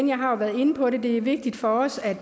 jeg har været inde på det før at det er vigtigt for os at